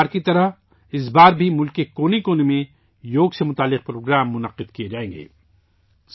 ہر بار کی طرح اس بار بھی ملک کے کونے کونے میں یوگا سے متعلق پروگرام منعقد کیے جائیں گے